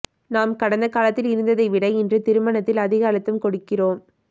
நாம் கடந்த காலத்தில் இருந்ததைவிட இன்று திருமணத்தில் அதிக அழுத்தம் கொடுக்கிறோம்